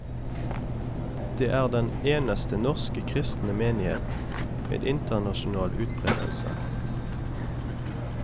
Det er den eneste norske kristne menighet med internasjonal utbredelse.